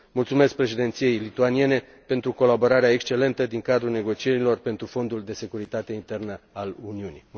Mulțumesc Președinției lituaniene pentru colaborarea excelentă din cadrul negocierilor pentru Fondul de securitate internă al Uniunii.